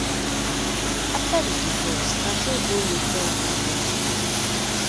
afta di divorce tate go luton england wit